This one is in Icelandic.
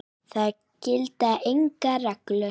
Það gilda engar reglur.